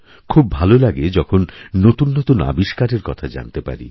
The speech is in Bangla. খুব ভালো লাগেযখন নতুন নতুন আবিষ্কারের কথা জানতে পারি